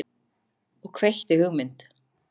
Og kveikti hugmynd.